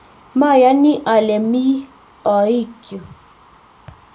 mayoni ale mi ooikyu